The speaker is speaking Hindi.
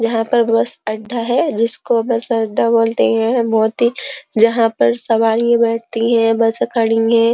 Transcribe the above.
यहाँ पर बस अड्डा है जिसको बस अड्डा बोलते हैं। यह बहोत ही जहाँ पर सवारियां बैठती हैं। बस खड़ीं हैं।